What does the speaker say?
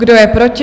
Kdo je proti?